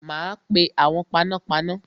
Ma pe awon panápaná